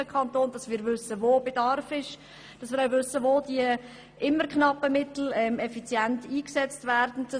Es ist wichtig, zu prüfen, wo Bedarf besteht, und wo die stets knappen Mittel effizient eingesetzt werden sollen.